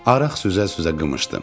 Araq süzə-süzə qımışdım.